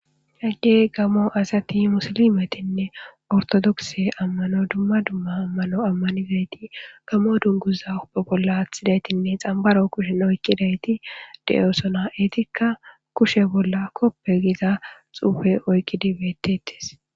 hagge gammo asati musilimetinne ortodokse ammano dumma dumma ammano ammanidayti gamo dunguza uppe bolla aththidaytinne xambaro kushen oykkidayti de7osona eetikka kushe bolla koppe giza xuufe oykkidi beettetes